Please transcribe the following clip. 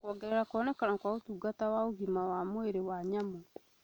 kuongerera kuonekana kwa ũtungata wa ũgima wa mwĩrĩ wa nyamũ,